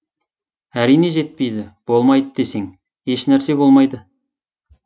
әрине жетпейді болмайды десең еш нәрсе болмайды